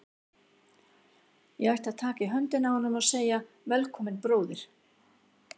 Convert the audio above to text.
Ég ætti að taka í höndina á honum og segja: Velkominn, bróðir.